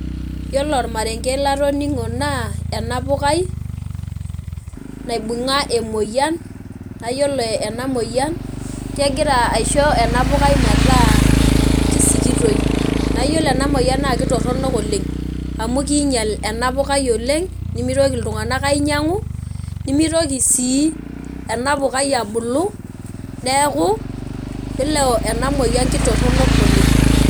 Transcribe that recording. Yiolo ormarenke latoningo naa ena pukai naibunga emoyian naa yiolo ena moyian kegira aisho ena pukai metaa kisikitoi naa yiolo ena moyian naa kitoronok oleng amu kinyial ena pukai oleng nemitoki iltunganak ainyiangu nemitoki sii enapukai abulu neeku yiolo ena moyian kitoronok oleng.